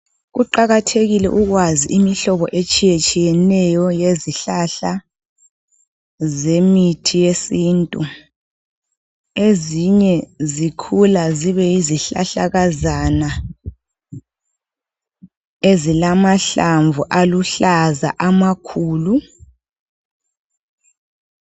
Kuqakathekile ukwazi imihlobo etshiye tshiyeneyo yezihlahla zemithi yesintu. Ezinye zikhula zibe yizihlahlakazana ezilamahlamvu aluhlaza amakhulu.